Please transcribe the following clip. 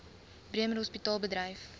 bremer hospitaal bedryf